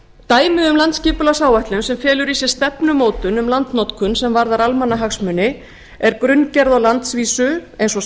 dæmi um landsskipualgssáætlun sem felur í sér stefnumótun um landnotkun sem varðar almannahagsmuni er grunngerð á landsvísu eins og